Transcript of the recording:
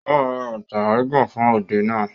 Ó ma ra bàtà gíga fún òde náà